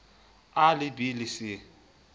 a le b le c